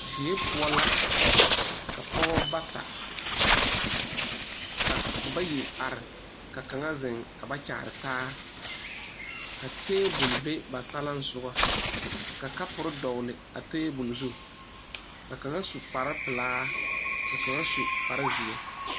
Die poɔ la ka pɔgeba bata be ,ka bayi are ka kaŋa zeŋ ka ba kyaare taa ka tabol be ba saleŋsoga ka kapori dɔgeli a tabol. zu ka kaŋa su kpare pelaa ka kaŋa su kpare zeɛ.